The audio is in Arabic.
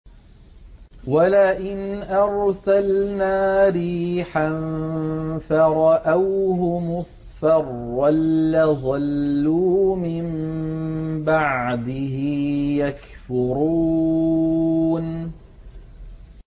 وَلَئِنْ أَرْسَلْنَا رِيحًا فَرَأَوْهُ مُصْفَرًّا لَّظَلُّوا مِن بَعْدِهِ يَكْفُرُونَ